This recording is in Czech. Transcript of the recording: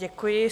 Děkuji.